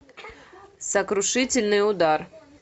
сокрушительный удар